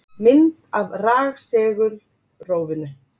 Mynd af rafsegulrófinu.